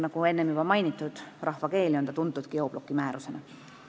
Nagu enne juba mainitud, rahvakeeli on see tuntud geobloki määrusena.